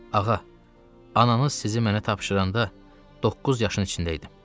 Ağa, ananız sizi mənə tapşıranda doqquz yaşının içində idim.